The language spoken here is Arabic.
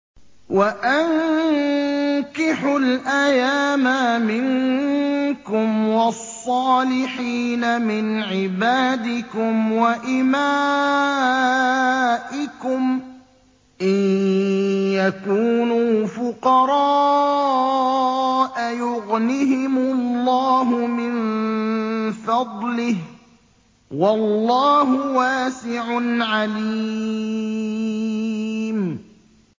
وَأَنكِحُوا الْأَيَامَىٰ مِنكُمْ وَالصَّالِحِينَ مِنْ عِبَادِكُمْ وَإِمَائِكُمْ ۚ إِن يَكُونُوا فُقَرَاءَ يُغْنِهِمُ اللَّهُ مِن فَضْلِهِ ۗ وَاللَّهُ وَاسِعٌ عَلِيمٌ